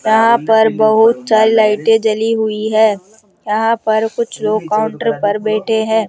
यहां पर बहुत सारी लाइटें जली हुई है यहां पर कुछ लोग काउंटर पर बैठे है।